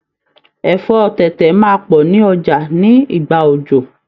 Ẹ̀fọ́ tẹ̀tẹ̀ máa pọ̀ ní Ọjà ní ìgbà òjò.